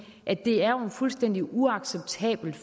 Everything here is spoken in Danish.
at det jo er fuldstændig uacceptabelt